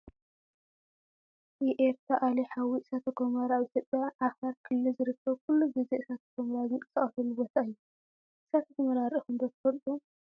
የኤርታአሌ- ሓዊ እሳተ ጎመራ ኣብ ኢትዮጵያ ዓፋር ክልል ዝርከብ ኩሉ ግዜ እሳተ ጎመራ ዝንቀሰቃሰሉ ቦታ እዩ። እሳተ ጎመራ ሪኢኩም ዶ ትፈልጡ ?